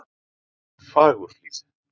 Fagurhlíð